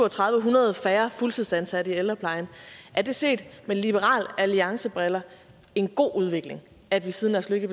hundrede færre fuldtidsansatte i ældreplejen er det set med liberal alliance briller en god udvikling at vi siden lars løkke